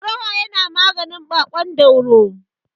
Ɗorawa yana maganin baƙon dauro.